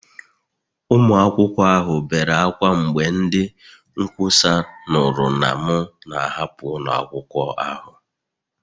Ụmụ akwụkwọ ahụ bere ákwá mgbe ndị nkwusa nụrụ na m na-ahapụ ụlọ akwụkwọ ahụ